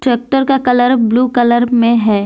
Tractor का colour blue colour में है।